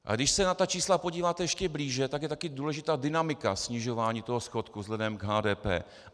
A když se na ta čísla podíváte ještě blíže, tak je taky důležitá dynamika snižování toho schodku vzhledem k HDP.